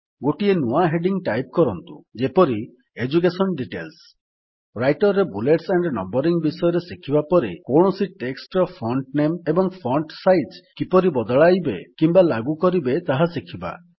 ଗୋଟିଏ ନୂଆ heading type କରନ୍ତୁ ଯେପରି - ଏଡୁକେସନ ଡିଟେଲ୍ସ ରାଇଟର୍ ରେ ବୁଲେଟ୍ସ ଏଏମପି ନମ୍ବରିଂ ବିଷୟରେ ଶିଖିବା ପରେ କୌଣସି ଟେକ୍ସଟ୍ ର ଫଣ୍ଟ ନାମେ ଏବଂ ଫଣ୍ଟ ସାଇଜ୍ କିପରି ବଦଳାଇବେ କିମ୍ୱା ଲାଗୁ କରିବେ ତାହା ଶିଖିବା